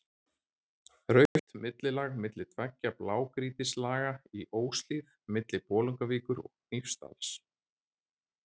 Rautt millilag milli tveggja blágrýtislaga í Óshlíð milli Bolungarvíkur og Hnífsdals.